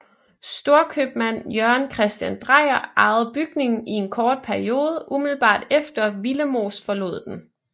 Storkøbmand Jørgen Christian Dreyer ejede bygningen i en kort periode umiddelbart efter Willemoes forlod den